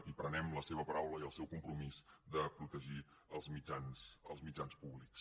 i prenem la seva paraula i el seu compromís de protegir els mitjans públics